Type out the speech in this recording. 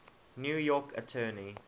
new york attorney